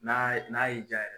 N'a ye n'a y'i jaa.